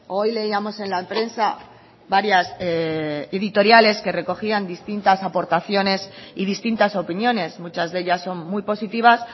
hoy leíamos en la prensa varias editoriales que recogían distintas aportaciones y distintas opiniones muchas de ellas son muy positivas